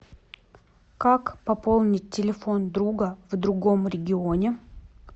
как пополнить телефон друга в другом регионе